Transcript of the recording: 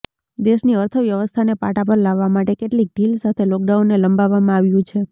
દેશની અર્થવ્યવસ્થાને પાટા પર લાવવા માટે કેટલીક ઢીલ સાથે લોકડાઉનને લંબાવવામાં આવ્યું છે